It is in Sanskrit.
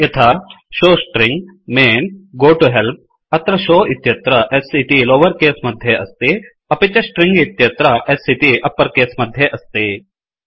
यथा showString main goToHelp अत्र शोव इत्यत्र s इति लोवर केस मध्ये अस्ति अपि च स्ट्रिंग इत्यत्र S इति अप्पर केस मध्ये अस्ति